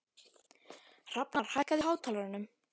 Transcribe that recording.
Hrafnar, hækkaðu í hátalaranum.